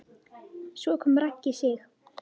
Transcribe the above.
Svo kom Raggi Sig.